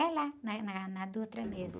É lá, na, na, na Dutra mesmo.